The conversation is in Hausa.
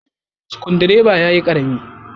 Sukudireban ya yi Karami.